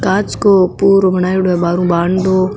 कांच को पुरो बनाईडो है बार ऊ बानडो --